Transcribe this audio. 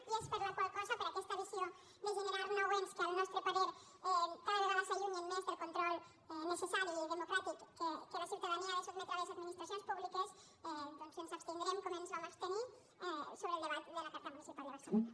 i és per la qual cosa per aquesta visió de generar nou ens que al nostre parer cada vegada s’allunyen més del control necessari i de·mocràtic a què la ciutadania ha de sotmetre les admi·nistracions públiques doncs que ens abstindrem com ens vam abstenir sobre el debat de la carta municipal de barcelona